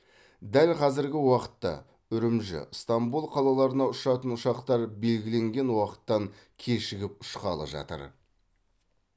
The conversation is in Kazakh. дәл қазіргі уақытта үрімжі ыстамбул қалаларына ұшатын ұшақтар белгіленген уақыттан кешігіп ұшқалы жатыр